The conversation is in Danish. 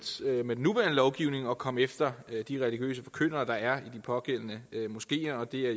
med den nuværende lovgivning at komme efter de religiøse forkyndere der er i de pågældende moskeer det er